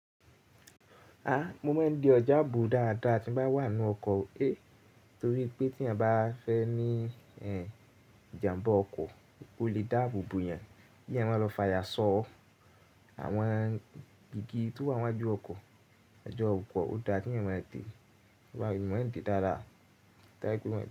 A! Mo máa ń di ọjà àbò dáadáa tí mbá wà nínú ọkọ̀. É torí pé tí èèyàn bá fẹ́ ní ẹ̀ ìjàmbá ọkọ̀, o lè dáàbò bo yẹn, k’èèyàn má lọ fàya sọ. Àwọn gìgí tó wà níwaju ọkọ̀, iwaju ọkọ̀, ó dáa tí ẹ máa ń dee, bá yè mo ń dì í dáadáa. Táípẹ̀ mo.